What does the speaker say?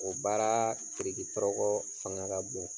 O baara tiriki tɔrɔkɔ fanga ka bon.